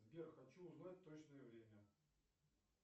сбер хочу узнать точное время